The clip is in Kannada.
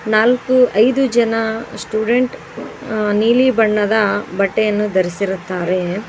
ನಾಲ್ಕು ಐದು ಜನ ಸ್ಟೂಡೆಂಟ್ ಅ ನೀಲಿ ಬಣ್ಣದ ಬಟ್ಟೆಯನ್ನು ಧರಿಸಿರುತ್ತಾರೆ.